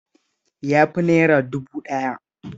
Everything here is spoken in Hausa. Ya fi naira dubu ɗaya.